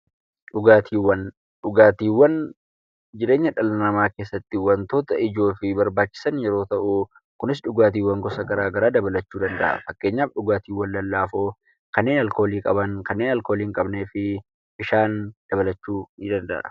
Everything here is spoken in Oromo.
Dhugaatiiwwan jireenya dhala namaa keessatti wantoota barbaachisaniifi ijoo yemmuu ta'u, kunis dhugaatiiwwan gosa gara garaa dabalachuuu danda'a. Fakkeenyaaf dhugaatiiwwan lallaafoo kanneen alkoolii qaban, kanneen alkoolii hinqabneefi bishaan dabalachuu ni danda'a.